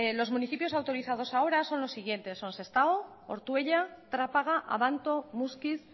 los municipios autorizados ahora son los siguientes son sestao ortuella trapaga abanto muskiz